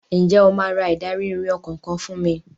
Ǹjẹ́ o máa ra ìdarí-ìrìn ọkọ̀ kan fún mi?